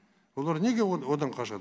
олар неге одан қашады